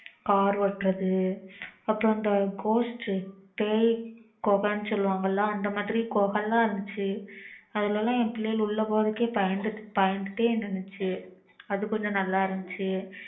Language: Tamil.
car ஓட்டுறது அப்புறம் இந்த ghost பேய் குகை சொல்லுவாங்க ல அந்த மாதிரி குகை ல இருந்துச்சு அதுல லாம் என் பிள்ளைங்க உள்ள போறதுக்கே பயந்துட்டே இருந்துச்சு அது கொஞ்சம் நல்லா இருந்துச்சு